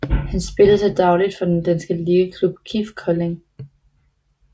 Han spiller til dagligt for den danske ligaklub KIF Kolding